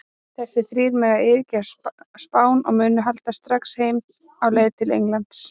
Þessir þrír mega nú yfirgefa Spán og munu halda strax heim á leið til Englands.